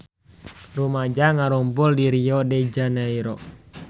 Rumaja ngarumpul di Rio de Janairo